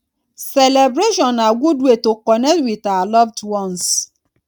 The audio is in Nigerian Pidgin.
celebration na good way to connect with our loved ones